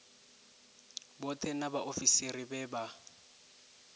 vhoṱhe na vhaofisiri vhe vha